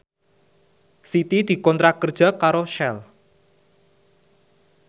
Siti dikontrak kerja karo Shell